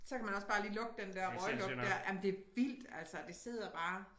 Så kan man også bare lige lugte den der røglugt dér jamen det vildt altså det sidder bare